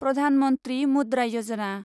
Pradhan Mantri Mudra Yojana